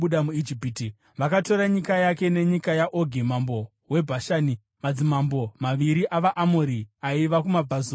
Vakatora nyika yake nenyika yaOgi mambo weBhashani, madzimambo maviri avaAmori aiva kumabvazuva kweJorodhani.